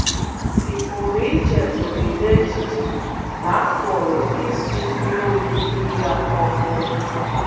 Ị̀ pụrụ ichetụdị n’echiche na a pụrụ isu ihe oyiyi ya ọkụ?